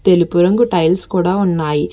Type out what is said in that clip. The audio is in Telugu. తెలుపు రంగు టైల్స్ కూడా ఉన్నాయి.